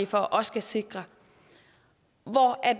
for og skal sikre og